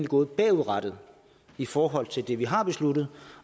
gået bagudrettet i forhold til det vi har besluttet